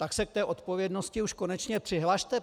Tak se k té odpovědnosti už konečně přihlaste.